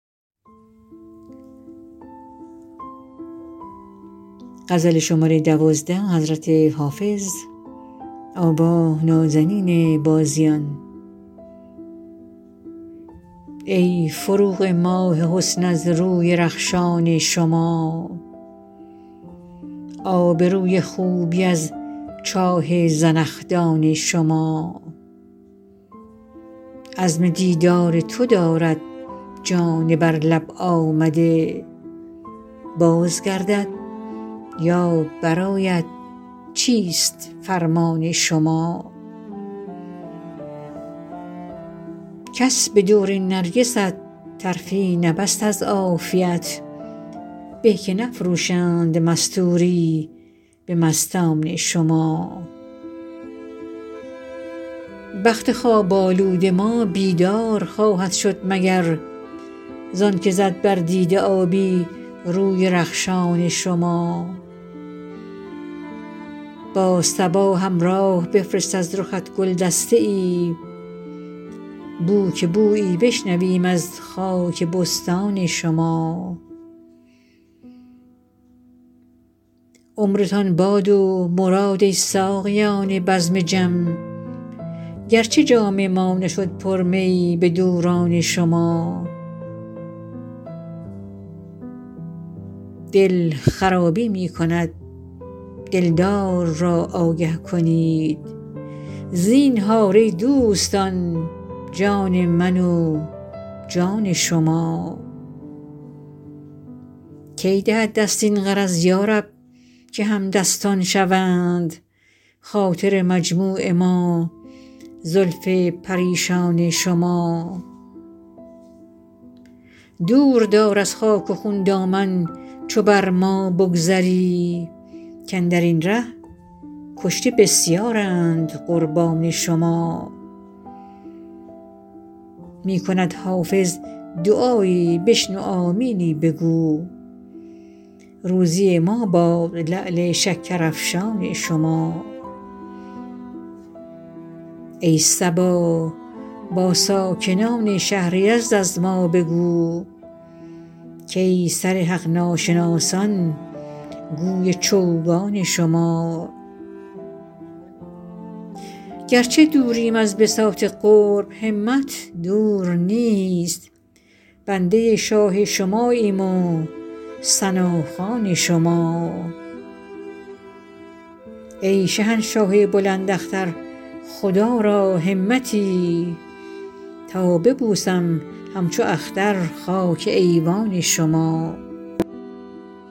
ای فروغ ماه حسن از روی رخشان شما آب روی خوبی از چاه زنخدان شما عزم دیدار تو دارد جان بر لب آمده باز گردد یا برآید چیست فرمان شما کس به دور نرگست طرفی نبست از عافیت به که نفروشند مستوری به مستان شما بخت خواب آلود ما بیدار خواهد شد مگر زان که زد بر دیده آبی روی رخشان شما با صبا همراه بفرست از رخت گل دسته ای بو که بویی بشنویم از خاک بستان شما عمرتان باد و مراد ای ساقیان بزم جم گرچه جام ما نشد پر می به دوران شما دل خرابی می کند دلدار را آگه کنید زینهار ای دوستان جان من و جان شما کی دهد دست این غرض یا رب که همدستان شوند خاطر مجموع ما زلف پریشان شما دور دار از خاک و خون دامن چو بر ما بگذری کاندر این ره کشته بسیارند قربان شما می کند حافظ دعایی بشنو آمینی بگو روزی ما باد لعل شکرافشان شما ای صبا با ساکنان شهر یزد از ما بگو کای سر حق ناشناسان گوی چوگان شما گرچه دوریم از بساط قرب همت دور نیست بنده شاه شماییم و ثناخوان شما ای شهنشاه بلند اختر خدا را همتی تا ببوسم همچو اختر خاک ایوان شما